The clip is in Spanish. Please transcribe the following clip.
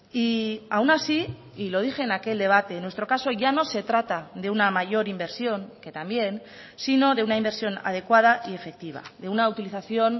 y aún así y lo dije en aquel debate en nuestro caso ya no se trata de una mayor inversión que también sino de una inversión adecuada y efectiva de una utilización